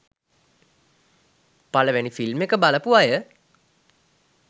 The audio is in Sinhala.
පළවෙනි ‍ෆිල්ම් එක බලපු අය